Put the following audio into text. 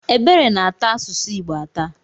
Ebere na-ata asụsụ Igbo atà.